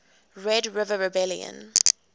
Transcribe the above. red river rebellion